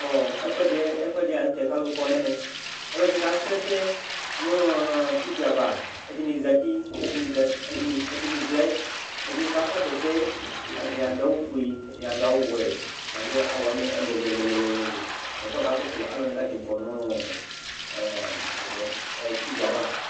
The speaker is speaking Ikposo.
ɛfuɛdi la nu tɛ kalu kɔ nɛmɛ ɛdini kasu ɛsɛ nu TV ava ɛdini zati ɛdini vlɛ ɛdini kakɔsu ɛsɛ ɛdini adu awu ofue ɛdini adu awu wɛ ɛdini adu awu ɛlu ɛlu kɔsu aluwani katani kɔnu TV ava